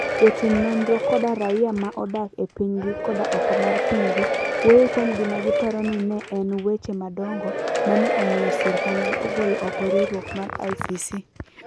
Jotim nonro kod raia ma odak e pinygi koda oko mar pinygi, wuoyo kuom gima giparo ni ne en "weche madongo" ma ne omiyo sirkandgi ogolo oko riwruok mar ICC.